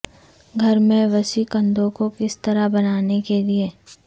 گھر میں وسیع کندھوں کو کس طرح بنانے کے لئے